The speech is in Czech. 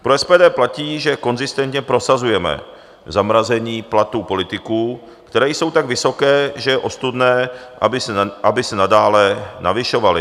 Pro SPD platí, že konzistentně prosazujeme zamrazení platů politiků, které jsou tak vysoké, že je ostudné, aby se nadále navyšovaly.